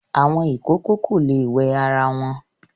Àwọn ìkòkò kò le wẹ ara wọn.